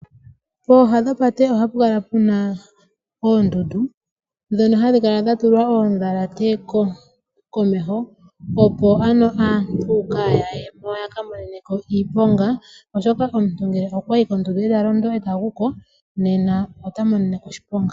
Pooha dhopate ohapu kala puna oondundu dhono hadhi kala dha tulwa oodhalate komeho, opo aantu kaya yeko ya ka monene ko iiponga oshoka omuntu ngele okwa yi kondundu eta londo eta guko nena ota monene ko oshiponga .